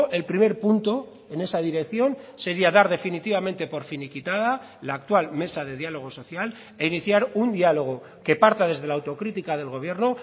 el primer punto en esa dirección sería dar definitivamente por finiquitada la actual mesa de diálogo social e iniciar un diálogo que parta desde la autocrítica del gobierno